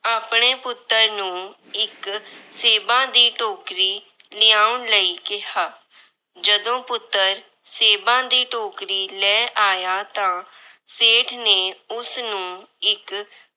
ਆਪਣੇ ਪੁੱਤਰ ਨੂੰ ਇੱਕ ਸੇਬਾਂ ਦੀ ਟੋਕਰੀ ਲਿਆਉਣ ਲਈ ਕਿਹਾ। ਜਦੋਂ ਪੁੱਤਰ ਸੇਬਾਂ ਦੀ ਟੋਕਰੀ ਲੈ ਆਇਆ ਤਾਂ ਸੇਠ ਨੇ ਉਸਨੂੰ ਇੱਕ